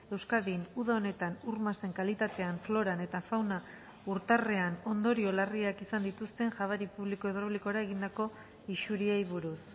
euskadin uda honetan ur masen kalitatean floran eta fauna urtarrean ondorio larriak izan dituzten jabari publiko hidraulikora egindako isuriei buruz